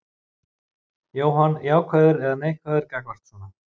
Jóhann: Jákvæður eða neikvæður gagnvart svona?